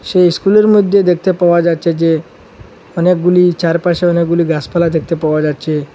সেই স্কুল -এর মইদ্যে দেখতে পাওয়া যাচ্ছে যে অনেকগুলি চারপাশে অনেকগুলি গাসপালা দেখতে পাওয়া যাচ্ছে।